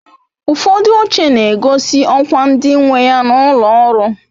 Ufodu oche na-egosi okwa ndi nweya n'ulo ọrụ